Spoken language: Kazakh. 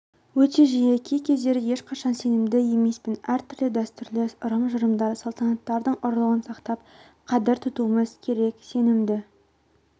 өте жиі кей-кездері ешқашан сенімді емеспін әртүрлі дәстүрлі ырым-жырымдар салтанаттардың ұлылығын сақтап қадір тұтуымыз керек сенімді